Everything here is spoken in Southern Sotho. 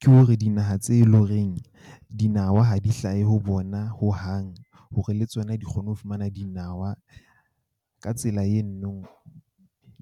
Ke hore dinaha tse leng horeng dinawa ha di hlahe ho bona hohang hore le tsona di kgone ho fumana dinawa ka tsela .